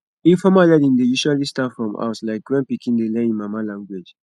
informal learning dey usually start from house like when pikin dey learn im mama language